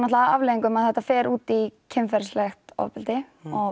að afleiðingum að þetta fer út í kynferðislegt ofbeldi og